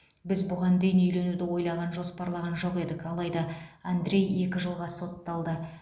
біз бұған дейін үйленуді ойлаған жоспарлаған жоқ едік алайда андрей екі жылға сотталды